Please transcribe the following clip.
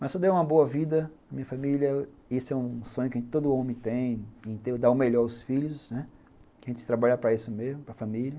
Mas se eu der uma boa vida para a minha família, esse é um sonho que todo homem tem, dar o melhor aos filhos, né, que a gente trabalha para isso mesmo, para a família.